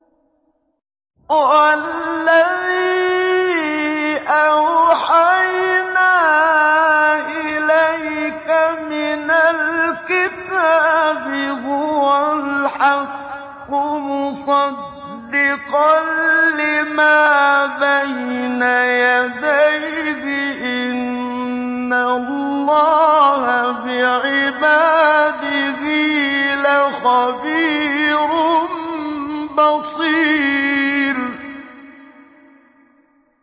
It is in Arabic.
وَالَّذِي أَوْحَيْنَا إِلَيْكَ مِنَ الْكِتَابِ هُوَ الْحَقُّ مُصَدِّقًا لِّمَا بَيْنَ يَدَيْهِ ۗ إِنَّ اللَّهَ بِعِبَادِهِ لَخَبِيرٌ بَصِيرٌ